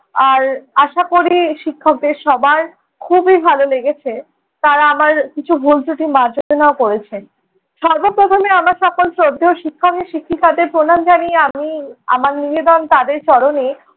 আর আশা করি শিক্ষকের সবার খুবই ভালো লেগেছে। তারা আমার কিছু ভুল ত্রুটি মার্জনাও করেছেন। সর্বপ্রথমে আমার সকল শ্রদ্ধেয় শিক্ষক শিক্ষিকাদের প্রণাম জানিয়ে আমি, আমার নিবেদন তাদের চরণে